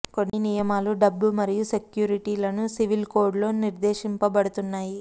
కొన్ని నియమాలు డబ్బు మరియు సెక్యూరిటీలను సివిల్ కోడ్ లో నిర్దేశింపబడుతున్నాయి